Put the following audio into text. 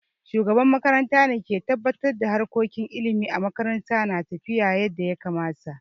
Shugaban makaranta ke tabbatar da harkokin ilimi a makaranta na tafiya yadda ya kamata.